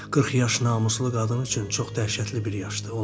40 yaş namuslu qadın üçün çox dəhşətli bir yaşdır.